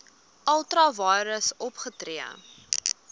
ultra vires opgetree